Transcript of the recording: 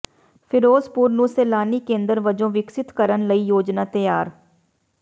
ਫਿਰੋਜ਼ਪੁਰ ਨੂੰ ਸੈਲਾਨੀ ਕੇਂਦਰ ਵਜੋਂ ਵਿਕਸਤ ਕਰਨ ਲਈ ਯੋਜਨਾ ਤਿਆਰ